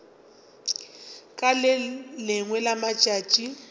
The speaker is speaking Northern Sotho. ka le lengwe la matšatši